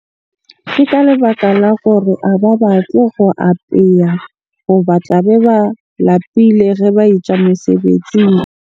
Ke ka lebaka la gore a ba batle ho apeya hoba tla mbe ba lapile ge ba e tswa mosebetsing.